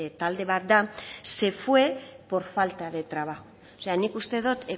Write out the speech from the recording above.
talde bat da se fue por falta de trabajo nik uste dut